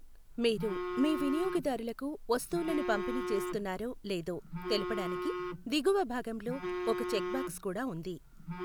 మీరు మీ వినియోగదారులకు వస్తువులను పంపిణీ చేస్తున్నారో లేదో తెలుపడానికి దిగువ భాగంలో ఒక చెక్బాక్స్ కూడా ఉంది.